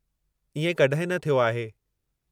इएं कॾहिं न थियो आहे।